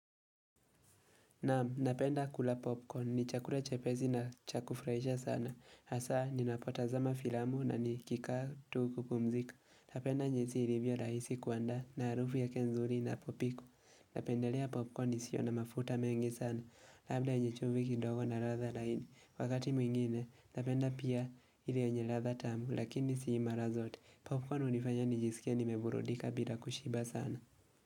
Naam, napenda kula popcorn. Ni chakula chepesi na cha kufraisha sana. Hasa, ninapotazama filamu na nikikaa tu kupumzika. Napenda jinsi ilivyo raisi kuandaa na arufu yake nzuri inapopikwa. Napendelea popcorn isio na mafuta mengi sana. Labda yenye chumvi kidogo na ladha laini. Wakati mwingine, napenda pia ile yenye ladha tamu lakini sii mara zote. Popcorn hunifanya nijisikie nimeburudika bila kushiba sana.